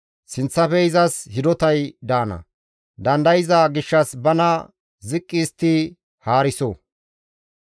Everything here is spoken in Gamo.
Sinththafe izas hidotay daana dandayza gishshas bana ziqqi histti haariso.